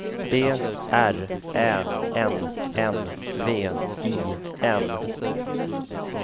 B R Ä N N V I N